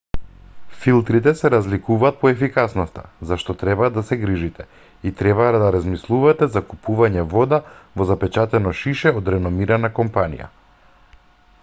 филтрите се разликуваат по ефикасноста за што треба да се грижите и треба да размислувате за купување вода во запечатено шише од реномирана компанија